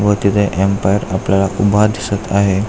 व तिथे एमपायर आपल्याला उभा दिसत आहे.